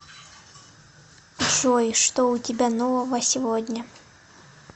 джой что у тебя нового сегодня